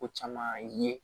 Ko caman ye